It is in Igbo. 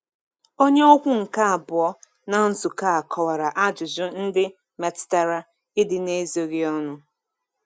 Onye okwu nke abụọ na nzukọ a kọwara ajụjụ ndị metụtara ịdị n’ezoghị ọnụ.